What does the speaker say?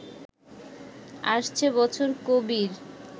আসছে বছর কবির